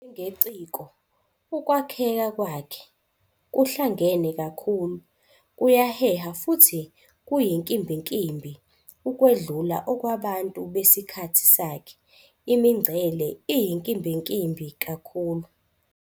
Njengeciko, ukwakheka kwakhe ".kuhlangene kakhulu, kuyaheha futhi kuyinkimbinkimbi ukwedlula okwabantu besikhathi sakhe, imingcele iyinkimbinkimbi kakhulu.